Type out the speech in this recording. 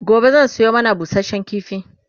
gobe zan Sayo mana busashen kifi